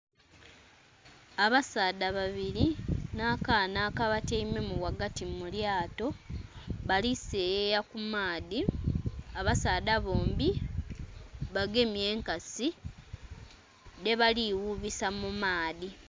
Abasaadha babiri nha kaana aka batyaimemu ghagati mulyato, bali seyeya ku maadhi abasaadha bombi bagemye enkasi dhe bali ghubisa mu maadhi.